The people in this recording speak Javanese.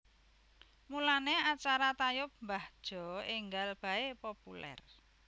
Mulane acara tayub mbah Jo enggal bae populer